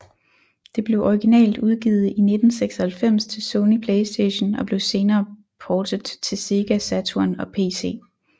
Det blev originalt udgivet i 1996 til Sony PlayStation og blev senere portet til Sega Saturn og pc